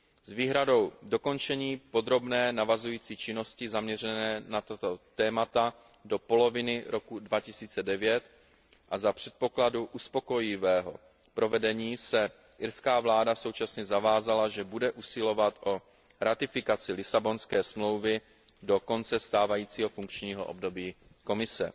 S výhradou dokončení podrobné navazující činnosti zaměřené na tato témata do poloviny roku 2009 a za předpokladu uspokojivého provedení se irská vláda současně zavázala, že bude usilovat o ratifikaci Lisabonské smlouvy do konce stávajícího funkčního období Komise.